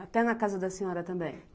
Até na casa da senhora também?